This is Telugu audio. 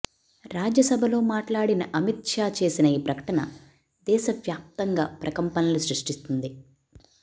రాజ్యసభలో మాట్లాడిన అమిత్ షా చేసిన ఈ ప్రకటన దేశవ్యాప్తంగా ప్రకంపనలు సృష్టిస్తుంది